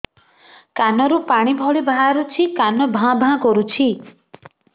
କାନ ରୁ ପାଣି ଭଳି ବାହାରୁଛି କାନ ଭାଁ ଭାଁ କରୁଛି